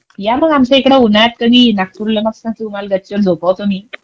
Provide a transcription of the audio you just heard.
या मग आमच्या इकडे उन्हाळ्यात कधी नागपूरला मस्त गच्चीवर झोपवतो मी.